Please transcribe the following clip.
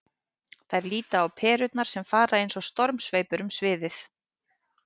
Þær líta á perurnar sem fara eins og stormsveipur um sviðið.